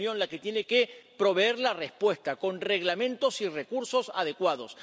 Y es la Unión la que tiene que proveer la respuesta, con reglamentos y recursos adecuados.